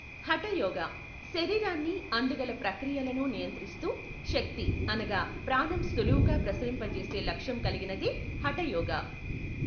హఠ యోగా, శరీరాన్ని అందుగల ప్రక్రియలను నియంత్రిస్తూ శక్తి అనగా ప్రాణం సులువుగా ప్రసరింపజేసే లక్ష్యం కల్గినదే హఠయోగా.